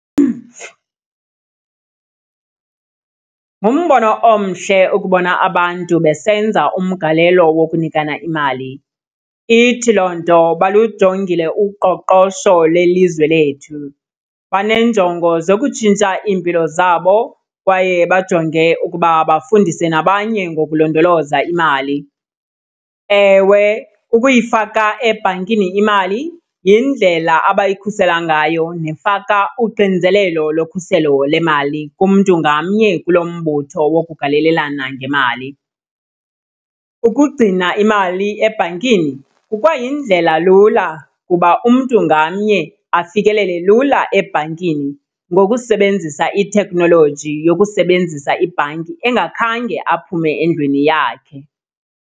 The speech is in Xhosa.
Ngumbono omhle ukubona abantu besenza umgalelo wokunikana imali. Ithi loo nto balujongile uqoqosho lwelizwe lethu, baneenjongo zokutshintsha iimpilo zabo kwaye bajonge ukuba bafundise nabanye ngokulondoloza imali. Ewe, ukuyifaka ebhankini imali yindlela abayikhusela ngayo nefaka uxinzelelo lokhuselo lemali kumntu ngamnye kulo mbutho wokugalelelana ngemali. Ukugcina imali ebhankini kukwayindlelalula ukuba umntu ngamnye afikelele lula ebhankini ngokusebenzisa ithekhnoloji yokusebenzisa ibhanki engakhange aphume endlwini yakhe.